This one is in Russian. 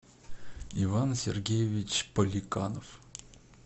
иван сергеевич поликанов